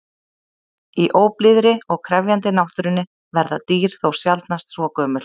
Í óblíðri og krefjandi náttúrunni verða dýr þó sjaldnast svo gömul.